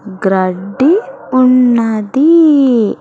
గ్రడ్డి ఉన్నది.